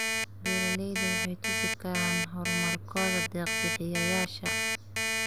Beeralayda waxay tusi karaan horumarkooda deeq bixiyayaasha.